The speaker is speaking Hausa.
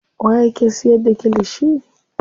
Waye yake siyar da kilishi.